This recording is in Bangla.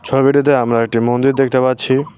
ছবিটিতে আমরা একটি মন্দির দেখতে পাচ্ছি।